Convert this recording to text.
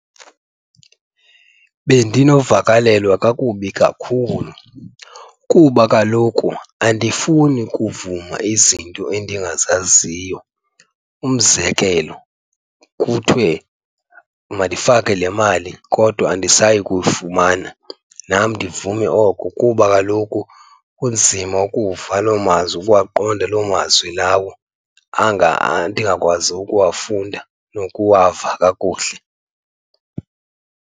Bendinovakalelwa kakubi kakhulu kuba kaloku andifuni kuvuma izinto endingazaziyo. Umzekelo kuthiwe mandifake le mali kodwa andisayi kuyifumana, nam ndivume oko kuba kaloku kunzima ukuva loo mazwi, ukuwaqonda loo mazwi lawo anga ndingakwazi ukuwafunda nokuwava kakuhle.